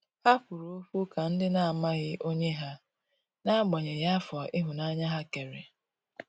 Ha kwụrụ ọkwụ ka ndi na amaghị onye ha, n'agbanyeghi afọ ihunanya ha kere.